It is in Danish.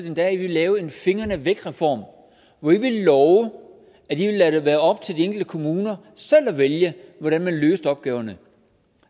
endda at i ville lave en fingrene væk reform hvor i ville love at i ville lade det være op til de enkelte kommuner selv at vælge hvordan man løste opgaverne